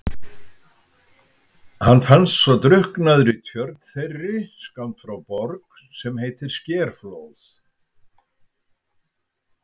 Hann fannst svo drukknaður í tjörn þeirri skammt frá Borg sem heitir Skerflóð.